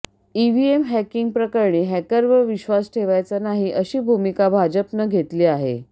EVM hacking प्रकरणी हॅकरवर विश्वास ठेवायचा नाही अशी भूमिका भाजपनं घेतली आहे